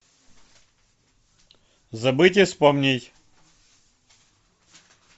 забыть и вспомнить